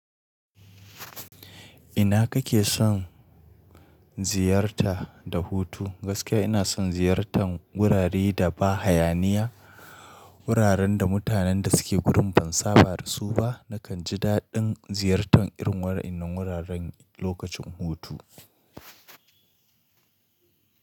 Ina kake son ziyarta da hutu? Gaskiya ina son ziyartan wurare da ba hayaniya, wuraren da mutanen da suke gurin ban saba da su ba. Nakan ji daɗin ziyartan irin wa ennan wuraren lokacin hutu.